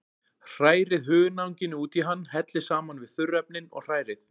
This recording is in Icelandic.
Hrærið hunangið út í hann, hellið saman við þurrefnin og hrærið.